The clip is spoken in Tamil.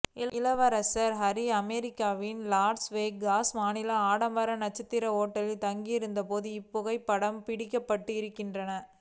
இளவரசர் ஹரி அமெரிக்காவின் லாஸ் வேகாஸ் மாநிலத்தில் ஆடம்பர நட்சத்திர ஹோட்டலில் தங்கி இருந்தபோது இப்புகைப்படங்கள் பிடிக்கப்பட்டு இருக்கின்ற